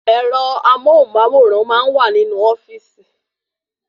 Ẹ̀rọ amóhùnmáwòrán máa n wa ninu ofíìsì